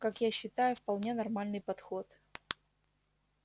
как я считаю вполне нормальный подход